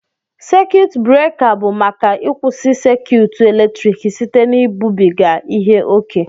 sékiyụtụ buréka bụ maka ịkwụsị sékiyụtụ eletrik site na ibubiga ihe ókè